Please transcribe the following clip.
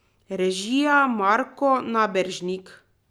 Režija Marko Naberšnik.